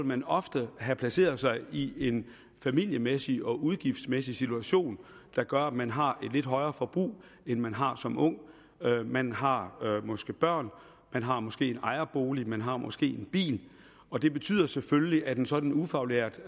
man ofte have placeret sig i en familiemæssig og udgiftsmæssig situation der gør at man har et lidt højere forbrug end man har som ung man har måske børn man har måske en ejerbolig man har måske en bil og det betyder selvfølgelig at en sådan ufaglært